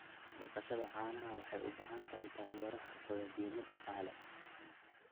Dhaqashada caanaha waxay u baahan tahay taageero xirfadeed iyo mid dhaqaale.